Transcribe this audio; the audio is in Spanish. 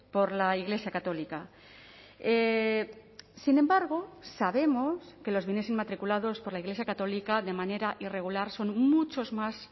por la iglesia católica sin embargo sabemos que los bienes inmatriculados por la iglesia católica de manera irregular son muchos más